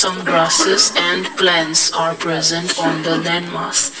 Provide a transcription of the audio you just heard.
some grasses and plants are present on the landmark.